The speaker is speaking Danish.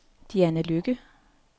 Diana Lykke